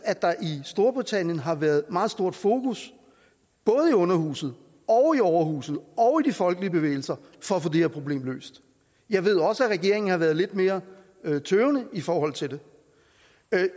at der i storbritannien har været et meget stort fokus både i underhuset og i overhuset og i de folkelige bevægelser for at få det her problem løst jeg ved også at regeringen har været lidt mere tøvende i forhold til det